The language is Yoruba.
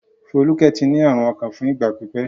Folúkẹ́ ti ní àrùn ọkàn fún ìgbà pípẹ́.